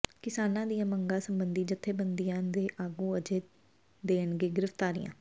ਕਿਸਾਨਾਂ ਦੀਆਂ ਮੰਗਾਂ ਸਬੰਧੀ ਜਥੇਬੰਦੀਆਂ ਦੇ ਆਗੂ ਅੱਜ ਦੇਣਗੇ ਗਿ੍ਫ਼ਤਾਰੀਆਂ